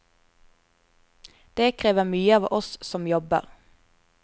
Det krever mye av oss som jobber.